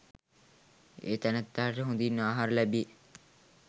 ඒ තැනැත්තාට හොඳින් ආහාර ලැබේ.